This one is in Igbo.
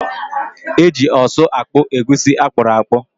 Eji ọsụ akpụ egusi akpụrụakpụ.